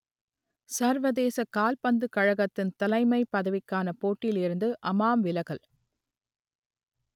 சர்வதேச கால்பந்துக் கழகத்தின் தலைமைப் பதவிக்கான போட்டியில் இருந்து அமாம் விலகல்